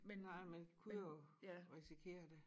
Nej man kunne jo risikere det